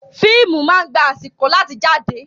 Fíìmù máa ń gba àsìkò láti jáde.